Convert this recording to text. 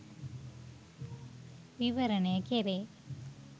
විවරණය කෙරේ.